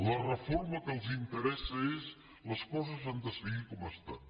la reforma que els interessa és les coses han de seguir com estan